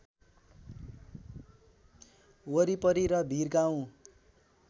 वरिपरि र भिरगाउँ